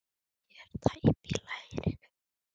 Ég er tæp í lærinu.